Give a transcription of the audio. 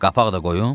Qapaq da qoyun?